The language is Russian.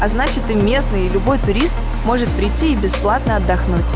а значит и местные и любой турист может прийти и бесплатно отдохнуть